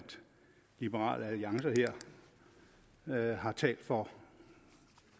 liberal alliance her har talt for